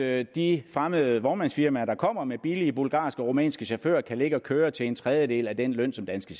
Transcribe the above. at de fremmede vognmandsfirmaer der kommer med billige bulgarske og rumænske chauffører kan ligge og køre til en tredjedel af den løn som danske